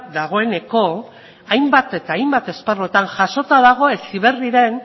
dagoeneko hainbat eta hainbat esparruetan jasota dago heziberriren